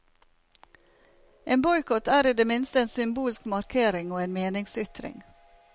En boikott er i det minste en symbolsk markering og en meningsytring.